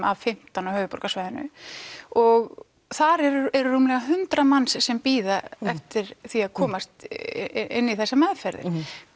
af fimmtán á höfuðborgarsvæðinu og þar eru rúmlega hundrað manns sem bíða eftir því að komast inn í þessar meðferðir